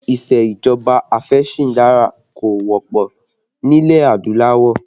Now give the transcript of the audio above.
Isejọba afesindari kò wọ́pọ̀ nílẹ̀ adúláwọ̀